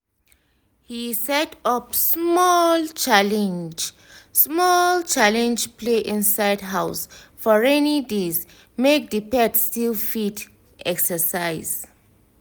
he set up small challenge small challenge play inside house for rainy days make the pet still fit exercise